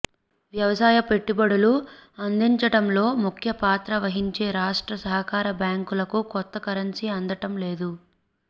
వ్యవసాయ పెట్టుబడులు అందించటంలో ముఖ్య పాత్ర వహించే రాష్ట్ర సహకార బ్యాంకు లకు కొత్త కరెన్సీ అందటం లేదు